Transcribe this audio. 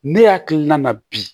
Ne hakilina na bi